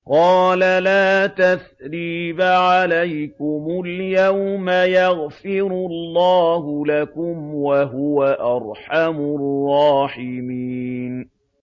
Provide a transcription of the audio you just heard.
قَالَ لَا تَثْرِيبَ عَلَيْكُمُ الْيَوْمَ ۖ يَغْفِرُ اللَّهُ لَكُمْ ۖ وَهُوَ أَرْحَمُ الرَّاحِمِينَ